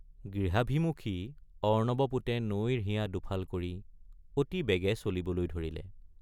গৃহাভিমুখী অৰ্ণৱপোতে নৈৰ হিয়া দুফাল কৰি অতি বেগে চলিবলৈ ধৰিলে।